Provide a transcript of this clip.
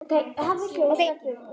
Verði hún Guði falin.